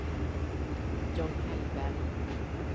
John Hellberg